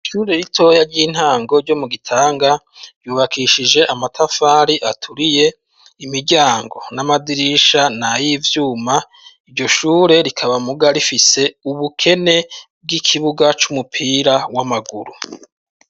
ishure ritoya ry'intango ryo mu Gitanga ryubakishije amatafari aturiye, imiryango n'amadirisha ni ay'ivyuma, iryo shure rikaba muga rifise ubukene bw'ikibuga c'umupira w'amaguru.